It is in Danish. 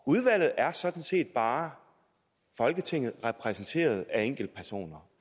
udvalget er sådan set bare folketinget repræsenteret af enkeltpersoner